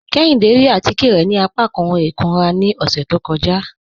Kéhìndé rí àtíkẹ̀ rẹ̀ ni àpàkán ọ̀hun ikúnrà ni ọṣẹ̀ tó kọ́jà